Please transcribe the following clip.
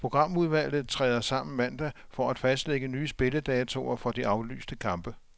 Programudvalget træder sammen mandag for at fastlægge nye spilledatoer for de aflyste kampe.